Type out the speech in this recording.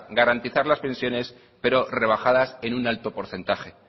garantizar las pensiones pero rebajadas en un alto porcentaje